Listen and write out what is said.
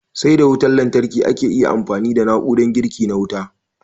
Sai da wutan lantarki ake iya amfani da na'urar girki na wuta.